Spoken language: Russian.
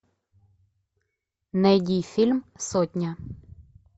найди фильм сотня